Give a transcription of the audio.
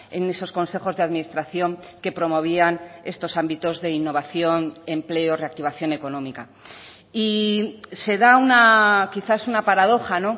en esos consejos de administración que promovían estos ámbitos de innovación empleo reactivación económica y se da una quizás una paradoja